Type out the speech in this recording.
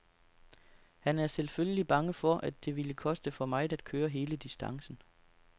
Han er selvfølgelig bange for, at det ville koste for meget at køre hele distancen.